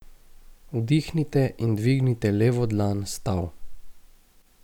Vdihnite in dvignite levo dlan s tal.